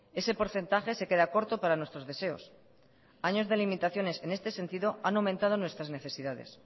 ese porcentaje se queda corto para nuestros deseos años de limitaciones en este sentido han aumentado nuestras necesidades